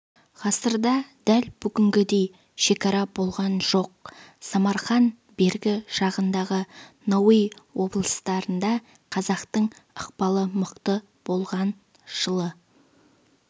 ғасырда дәл бүгінгідей шекара болған жоқ самарқан бергі жағындағы науаи облыстарында қазақтың ықпалы мықты болған жылы